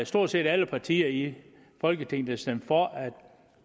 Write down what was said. stort set alle partier i folketinget der stemte for at